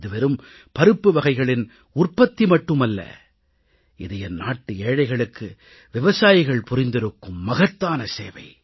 இது வெறும் பருப்புவகைகளின் உற்பத்தி மட்டும் அல்ல இது என் நாட்டு ஏழைகளுக்கு விவசாயிகள் புரிந்திருக்கும் மகத்தான சேவை